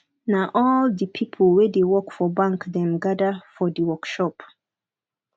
na all di pipo wey dey work for bank dem gada for di workshop